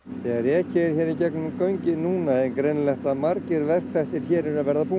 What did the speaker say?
þegar ekið er í gegnum göngin núna er greinilegt að margir verkþættir hér eru að verða búnir